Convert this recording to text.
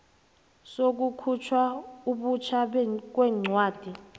sokukhutjhwa butjha kwencwadi